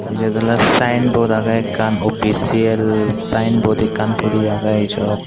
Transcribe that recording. iyot oley sayenbod agey ekkan opisial sayenbod ekkan puri agey ijot.